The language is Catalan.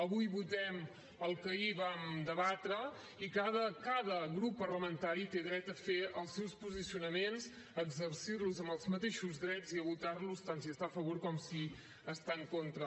avui votem el que ahir vam debatre i cada cada grup parlamentari té dret a fer els seus posicionaments exercir los amb els mateixos drets i a votar los tant sí hi està a favor com si està en contra